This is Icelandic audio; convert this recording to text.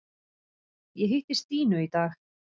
Ég hitti Stínu í dag.